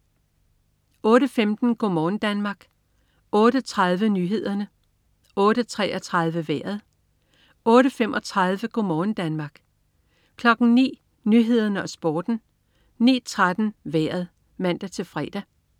08.15 Go' morgen Danmark (man-fre) 08.30 Nyhederne (man-fre) 08.33 Vejret (man-fre) 08.35 Go' morgen Danmark (man-fre) 09.00 Nyhederne og Sporten (man-fre) 09.13 Vejret (man-fre)